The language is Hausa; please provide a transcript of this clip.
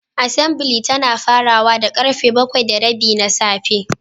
Assembly tana farawa da karfe bakwai da rabi na safe.